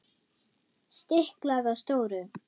Stiklað á stóru